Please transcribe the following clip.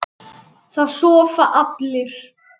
Það sofa allir.